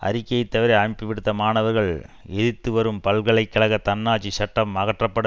அறிக்கையை தவிர அமைப்பு விடுத்த மாணவர்கள் எதிர்த்துவரும் பல்கலை கழக தன்னாட்சி சட்டம் அகற்றப்பட